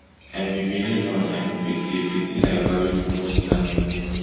i be benin man i no be thief di tin i value di most na my name